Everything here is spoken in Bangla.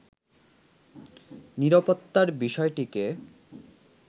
নিরাপত্তার বিষয়টিকে